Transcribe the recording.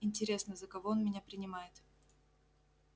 интересно за кого он меня принимает